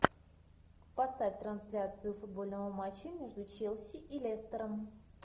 поставь трансляцию футбольного матча между челси и лестером